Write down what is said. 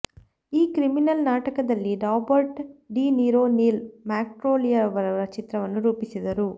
ಈ ಕ್ರಿಮಿನಲ್ ನಾಟಕದಲ್ಲಿ Robert De Niro Neil ಮ್ಯಾಕ್ಕ್ಯೂಲೆಯವರ ಚಿತ್ರವನ್ನು ರೂಪಿಸಿದರು